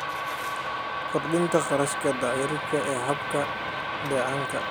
Kordhinta kharashka dayactirka ee hababka dheecaanka.